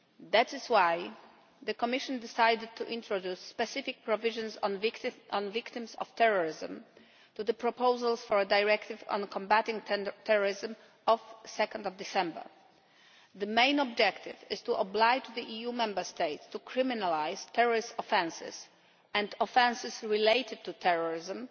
That is why the Commission decided to introduce specific provisions on victims of terrorism to the proposal for a directive on combatting terrorism of 2 December. The main objective is to oblige the EU Member States to criminalise terrorist offences and offences related to terrorism